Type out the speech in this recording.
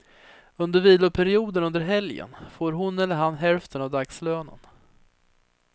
Under viloperioderna under helgen får hon eller han hälften av dagslönen.